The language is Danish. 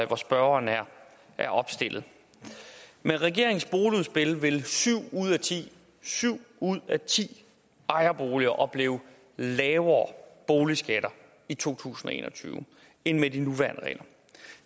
hvor spørgeren er opstillet med regeringens boligudspil vil syv ud af ti syv ud af ti ejerboliger opleve lavere boligskatter i to tusind og en og tyve end med de nuværende regler